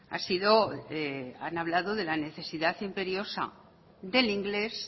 ha sido han hablado de la necesidad imperiosa del inglés